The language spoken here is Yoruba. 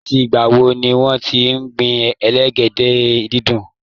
Láti ìgbà wo ni wọ́n ti ń gbin elégédé-dídùn?